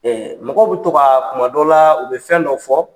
mɔgɔw be to kaa kumadɔw laa u be fɛn dɔ fɔ